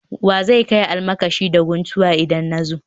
Wa zan kai almakashi da guntuwa idan na zo